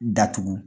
Datugu